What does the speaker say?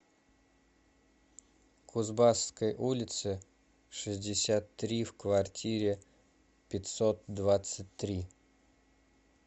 кузбасской улице шестьдесят три в квартире пятьсот двадцать три